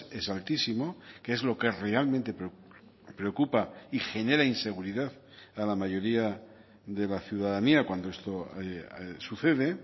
es altísimo que es lo que realmente preocupa y genera inseguridad a la mayoría de la ciudadanía cuando esto sucede